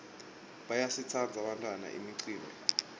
bayayitsandza bantfwana imicimbi